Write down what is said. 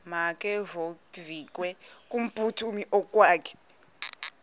makevovike kumphuthumi okokwakhe